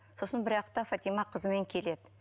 сосын бір уақытта фатима қызымен келеді